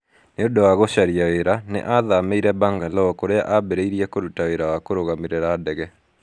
Nĩ ũndũ wa gũcaria wĩra, nĩ aathamĩire Bangalore kũrĩa aambĩrĩirie kũruta wĩra wa kũrũgamĩrĩra ndege.